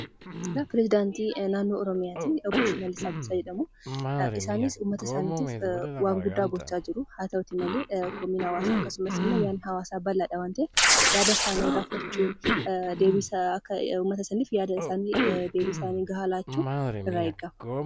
Perisidaantii naannoo oromiyaati . Obbo Shimallis Abdiisaa jedhamu. Isaanis uummata isaanitiif waan guddaa gochaa jiru. Haa ta'uuti malee komiin hawaasaa akkasumasimmoo yaadni hawaasaa bal'aadha waan ta'eef yaada isaanii irraa fudhachuun deebiisaa uummata saniif yaada saniif deebii gahaa laachuutu irraa eeggama.